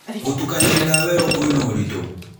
Gũtukania ndawa ĩyo kwĩna ũritũ